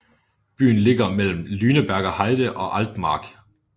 Byen ligger mellem Lüneburger Heide og Altmark